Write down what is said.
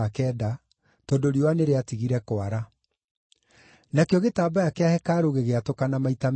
tondũ riũa nĩrĩatigire kwara. Nakĩo gĩtambaya kĩa hekarũ gĩgĩatũkana maita meerĩ.